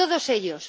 Todos ellos.